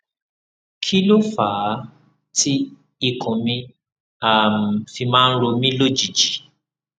kí ló fà á tí ikùn mi um fi máa ń ro mí lójijì